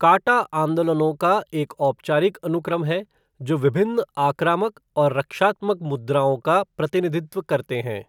काटा आंदोलनों का एक औपचारिक अनुक्रम है जो विभिन्न आक्रामक और रक्षात्मक मुद्राओं का प्रतिनिधित्व करते हैं।